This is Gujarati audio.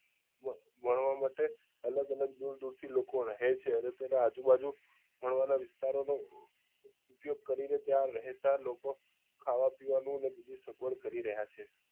ભણવા માટે અલગ અલગ દુર દુર થી લોકો રહે છે અને તેના આજુ બાજુ ભણવા ના વિસ્તારો નું ઉપયોગ કરી ને ત્યાં રહેતા લોકો નું ખાવા પીવા નું ને બીજી સગવડ કરી રહ્યા છે